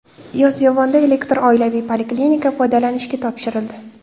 Yozyovonda elektron oilaviy poliklinika foydalanishga topshirildi .